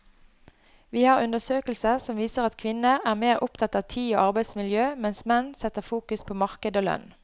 Vi har undersøkelser som viser at kvinner er mer opptatt av tid og arbeidsmiljø, mens menn setter fokus på marked og lønn.